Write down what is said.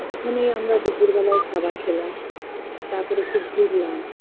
ওখানেই আমরা দুপুর বেলার খাবার খেলাম তারপরে একটু ঘুরলাম